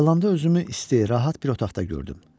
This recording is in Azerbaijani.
Ayılanda özümü isti, rahat bir otaqda gördüm.